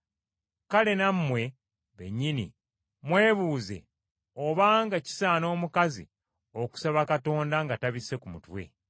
Kale nammwe bennyini mwebuuze obanga kisaana omukazi okusaba Katonda nga tabisse ku mutwe.